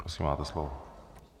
Prosím, máte slovo.